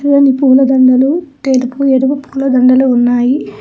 ఎర్రని పూల దండలు తెలుపు ఎరుపు పూలదండలు ఉన్నాయి.